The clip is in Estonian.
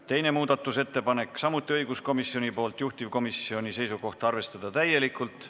Teine muudatusettepanek on samuti õiguskomisjonilt, juhtivkomisjoni seisukoht on arvestada seda täielikult.